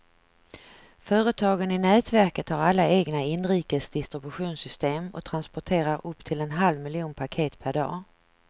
Företagen i nätverket har alla egna inrikes distributionssystem och transporterar upp till en halv miljon paket per dag.